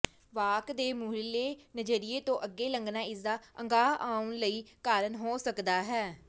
ਵਾਕ ਦੇ ਮੂਹਰਲੇ ਨਜ਼ਰੀਏ ਤੋਂ ਅੱਗੇ ਲੰਘਣਾ ਇਸਦਾ ਅਗਾਂਹ ਆਉਣ ਲਈ ਕਾਰਨ ਹੋ ਸਕਦਾ ਹੈ